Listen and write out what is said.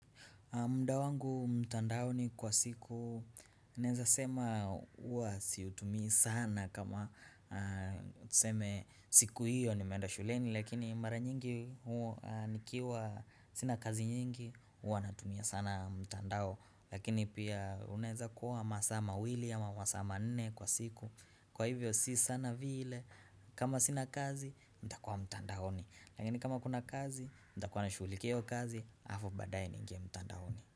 Muda wangu mtandaoni kwa siku, naeza sema huwa siutumii sana kama tuseme siku hiyo nimeenda shuleni lakini mara nyingi huwa nikiwa sina kazi nyingi, huwa natumia sana mtandao lakini pia unaeza kuwa masaa mawili ama masaa manne kwa siku kwa hivyo si sana vile kama sina kazi, nitakua mtandaoni lakini kama kuna kazi, nitakuwa nashughulikia hio kazi, halafu badaaye niingie mtandaoni.